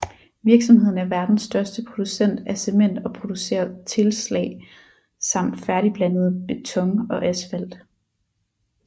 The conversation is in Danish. Virksomheden er verdens største producent af cement og producerer tilslag samt færdigblandet beton og asfalt